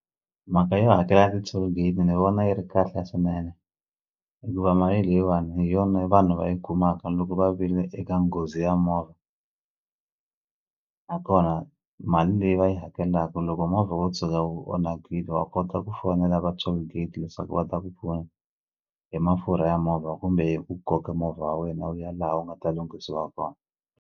Mhaka yo hakela ti-tollgate ni vona yi ri kahle swinene hikuva mali leyiwani hi yona vanhu va yi kumaka loko va vile eka nghozi ya movha nakona mali leyi va yi hakelaku loko movha wo tshuka wu onhakile wa kota ku fonela va tollgate leswaku va ta ku pfuna hi mafurha ya movha kumbe hi ku koka movha wa wena wu ya laha wu nga ta lunghisiwa kona.